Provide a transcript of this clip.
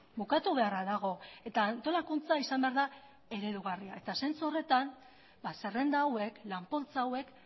bukatu beharra dago eta antolakuntza izan behar da eredugarria eta zentzu horretan zerrenda hauek lan poltsa hauek